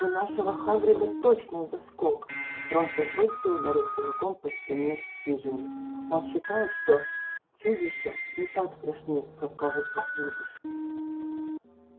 у нашего хагрида точно заскок рон со злости ударил кулаком по стене хижины он считает что чудища не так страшны как кажутся с виду